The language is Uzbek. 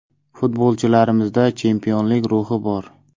Futbolchilarimda chempionlik ruhi bor.